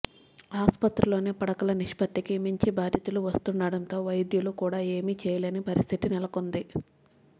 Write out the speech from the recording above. ఆస్పత్రుల్లోని పడకల నిష్పత్తికి మించి బాధితులు వస్తుండటంతో వైద్యులు కూడా ఏమీ చేయలేని పరిస్థితి నెలకొంది